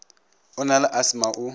o na le asthma o